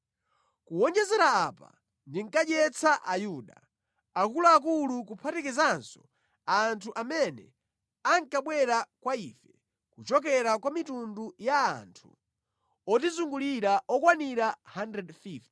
Kuwonjezera apa, ndinkadyetsa Ayuda, akuluakulu kuphatikizanso anthu amene ankabwera kwa ife kuchokera kwa mitundu ya anthu otizungulira okwanira 150.